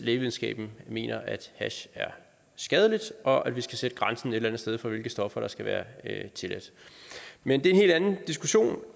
lægevidenskaben mener at hash er skadeligt og at vi skal sætte grænsen et eller andet sted for hvilke stoffer der skal være tilladte men det er en hel anden diskussion